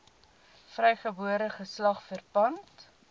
vrygebore geslag verpand